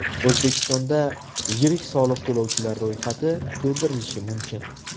O‘zbekistonda yirik soliq to‘lovchilar ro‘yxati to‘ldirilishi mumkin.